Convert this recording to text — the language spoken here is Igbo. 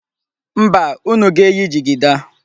Mba, unu ga-eyi jigida.